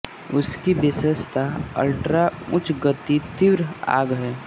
उसकी विशेषता अल्ट्रा उच्च गति तीव्र आग है